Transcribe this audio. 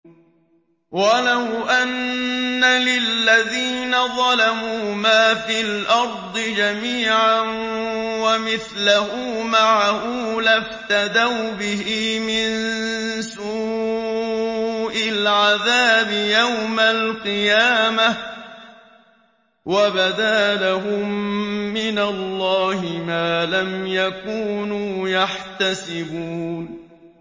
وَلَوْ أَنَّ لِلَّذِينَ ظَلَمُوا مَا فِي الْأَرْضِ جَمِيعًا وَمِثْلَهُ مَعَهُ لَافْتَدَوْا بِهِ مِن سُوءِ الْعَذَابِ يَوْمَ الْقِيَامَةِ ۚ وَبَدَا لَهُم مِّنَ اللَّهِ مَا لَمْ يَكُونُوا يَحْتَسِبُونَ